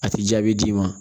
A ti jaabi d'i ma